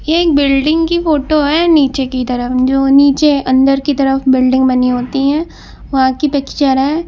ये एक बिल्डिंग की फोटो है नीचे की तरफ जो नीचे अंदर की तरफ बिल्डिंग बनी होती है वहां की पिक्चर है।